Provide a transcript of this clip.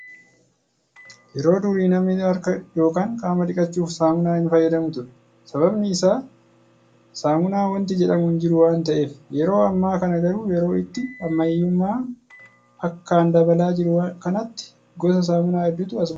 Yeroo durii namni harka yookaan qaama dhiqachuuf saamunaa hin fayyadamu ture. Sababiin isaa saamunaa wanti jedhamu hin jiru waan ta'eef. Yeroo ammaa kana garuu yeroo itti ammayyummaan akkaan dabalaa jiru kanatti gosa saamunaa hedduutu as ba'aa jira.